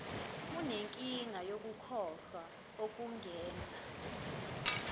unenkinga yokukhohlwa okungenza